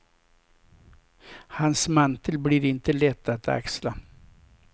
Hans mantel blir inte lätt att axla.